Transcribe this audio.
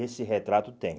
Esse retrato tem.